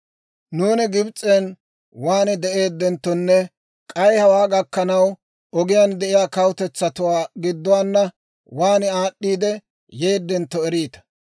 «Nuuni Gibs'en waan de'eeddenttonne k'ay hawaa gakkanaw, ogiyaan de'iyaa kawutetsatuwaa gidduwaana waan aad'd'iidde yeedentto eriita.